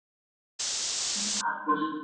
Þinn Arnar.